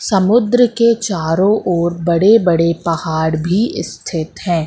समुद्र के चारों ओर बड़े बड़े पहाड़ भी स्थित है।